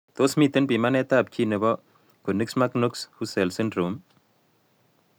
Tos miten pimatet ab gene nebo Konigsmark Knox Hussels syndrome?